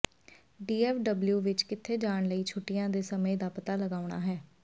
DFW ਵਿੱਚ ਕਿੱਥੇ ਜਾਣ ਲਈ ਛੁੱਟੀਆਂ ਦੇ ਸਮੇਂ ਦਾ ਪਤਾ ਲਗਾਉਣਾ ਹੈ